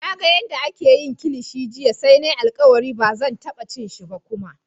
Na gan yadda ake yin kilishi jiya sai na yi alkawali ba zan taba cin shi kuma ba.